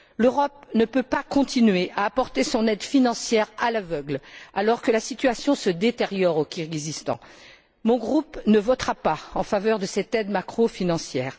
L'Europe ne peut pas continuer à apporter son aide financière à l'aveugle alors que la situation se détériore au Kirghizstan. Mon groupe ne votera pas en faveur de cette aide macrofinancière.